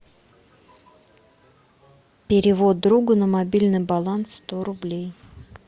перевод другу на мобильный баланс сто рублей